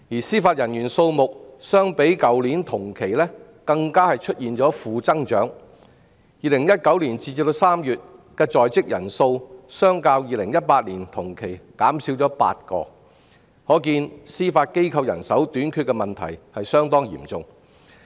司法人員數目相較去年同期更出現負增長 ，2019 年截至3月的在職人數較2018年同期減少8人，可見司法機構人手相當短缺。